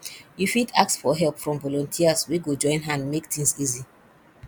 you fit ask for help from volunteers wey go join hand make things easy